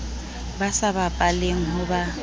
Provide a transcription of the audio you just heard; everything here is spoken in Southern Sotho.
ba sa bapaleng ho ba